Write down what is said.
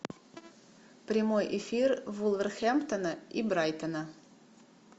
прямой эфир вулверхэмптона и брайтона